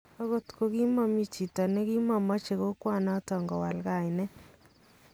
Okot kokimomi chito nekimomoche kokwanoton kowal kainet